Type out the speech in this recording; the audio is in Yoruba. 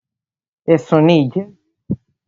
Ẹ̀sùn ní ìjẹ́rìèké.